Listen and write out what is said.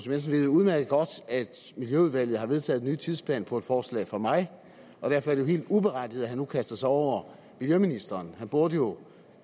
ved jo udmærket godt at miljøudvalget har vedtaget en ny tidsplan på et forslag fra mig og derfor er det helt uberettiget at han nu kaster sig over miljøministeren han burde jo